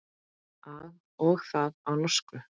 Og það á norsku.